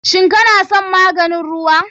Shin kana son maganin ruwa?